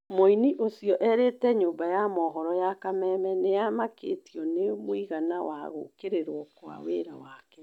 Mũini ũcio erĩte nyũmba ya mohoro ya Kameme nĩamakĩtio nĩ mũigana wa gũkĩrĩrwo kwa wĩra wake